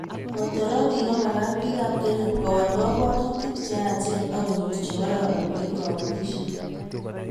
Otoroti komagat bikap Kenya Kowal kabwatutik cheyach akonyor chekororon eng kobotisiet